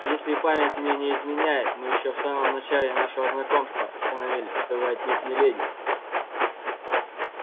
если память мне не изменяет мы ещё в самом начале нашего знакомства установили что вы отнюдь не леди